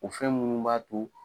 O fɛn munnu b'a to